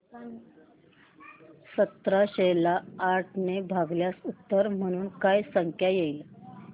सतराशे ला आठ ने भागल्यास उत्तर म्हणून काय संख्या येईल